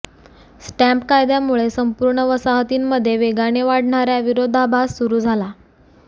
stamp कायद्यामुळे संपूर्ण वसाहतींमध्ये वेगाने वाढणार्या विरोधाभास सुरू झाला